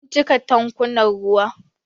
Mun cika tankunan ruwa.